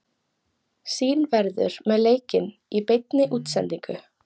Sýn verður með leikinn í beinni útsendingu.